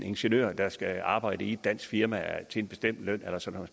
ingeniør der skal arbejde i et dansk firma til en bestemt løn eller sådan